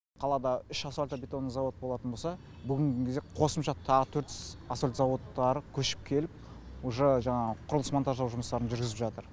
қалада үш асфалтты бетонный завод болатын болса бүгінге кезде қосымша тағы төрт асфальтты заводтар көшіп келіп уже жаңағы құрылыс монтаждау жұмыстарын жүргізіп жатыр